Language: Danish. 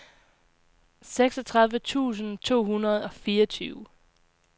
seksogtredive tusind to hundrede og fireogtyve